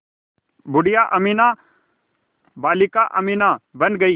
बूढ़िया अमीना बालिका अमीना बन गईं